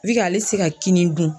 ale ti se ka kini dun.